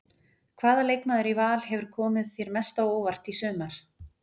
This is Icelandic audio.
Hvaða leikmaður í Val hefur komið þér mest á óvart í sumar?